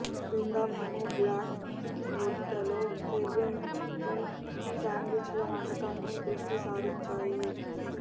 క్రింద మేము బ్లాక్ రొట్టె లో హెర్రింగ్ తో శాండ్విచ్ల వంటకాలను దృష్టి సారించాయి